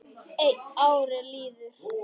En árin liðu.